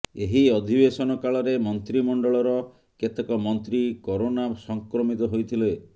ଏହି ଅଧିବେଶନ କାଳରେ ମନ୍ତ୍ରୀମଣ୍ଡଳର କେତେକ ମନ୍ତ୍ରୀ କରୋନା ସଂକ୍ରମିତ ହୋଇଥିଲେ